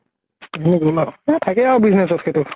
সেইখিনি গʼল আৰু । হেই থাকে আৰু business ত সেইতো ।